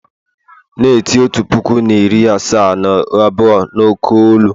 na-eti otu puku na iri asaa na abụọ n'oké olu!